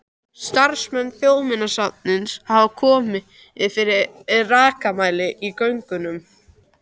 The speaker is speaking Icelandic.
Starfsmenn Þjóðminjasafns hafa komið fyrir rakamæli í göngunum.